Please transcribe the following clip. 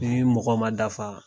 Ni mɔgɔw ma dafa